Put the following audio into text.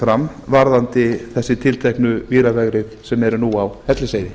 fram varðandi þessi tilteknu víravegrið sem eru nú á hellisheiði